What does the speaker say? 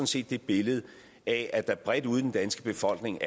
set det billede af at der bredt ude i den danske befolkning